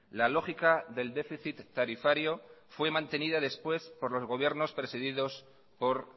la lógica del déficit tarifario fue mantenida después por los gobiernos presididos por